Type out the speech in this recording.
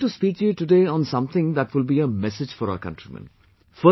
I want to speak to you today on something that will be a message for our countrymen